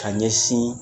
Ka ɲɛsin